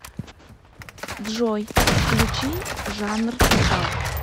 джой включи жанр метал